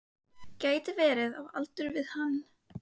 Gæti verið á aldur við hann.